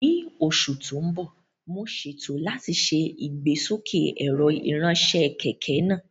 Ní oṣù tó ń bọ̀, mo ṣètò láti ṣe ìgbésókè ẹ̀rọ ìránṣẹ́ kẹ̀kẹ́ náà